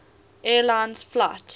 air lines flight